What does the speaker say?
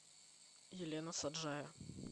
елена саджая